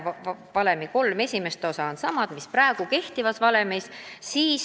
Valemi kolm esimest osa oleks samad, mis praegu kehtivas valemis.